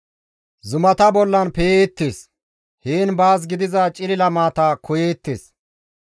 Zumata bollan pe7eettes; heen baas gidiza cilila maata koyeettes.